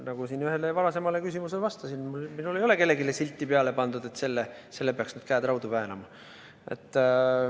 Nagu ma siin ühele varasemale küsimusele vastasin, ei ole mina kellelegi silti peale pannud, et sellel peaks nüüd käed raudu väänama.